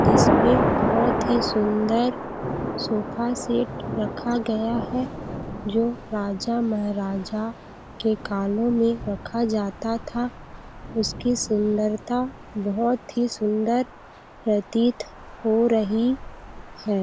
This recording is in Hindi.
जिसमें बहुत ही सुन्दर सोफा सेट रखा गया है जो राजा -महाराजा के कालों में रखा जाता था उसकी सुंदरता बहुत सुन्दर प्रतीत हो रही हैं।